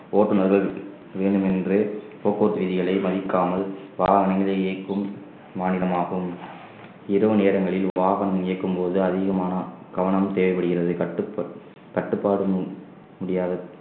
ஓட்டுனர்கள் வேண்டுமென்று போக்குவரத்து விதிகளை மதிக்காமல் வாகனங்களை இயக்கும் மாநிலமாகும் இரவு நேரங்களில் வாகனம் இயக்கும்போது அதிகமான கவனம் தேவைப்படுகிறது கட்டுப்ப~ கட்டுப்பாடு முடியாது